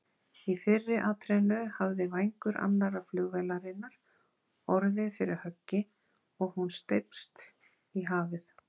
Í fyrri atrennu hafði vængur annarrar flugvélarinnar orðið fyrir höggi og hún steypst í hafið.